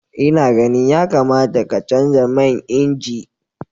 Ina ganin yakamata ka canza man inji.